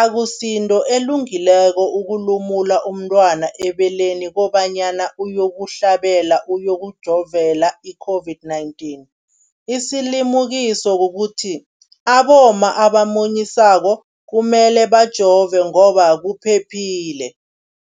akusinto elungileko ukulumula umntwana ebeleni kobanyana uyokuhlabela, uyokujovela i-COVID-19. Isilimukiso kukuthi abomma abamunyisako kumele bajove ngoba kuphephile.